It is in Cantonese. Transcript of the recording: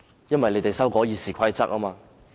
因為有議員要修訂《議事規則》。